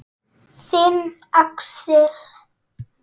Þinn, Axel.